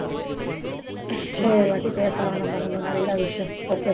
இன்னொருவாட்டி பேசலாம் நம்ம இன்னும் நிறைய விஷயம் okay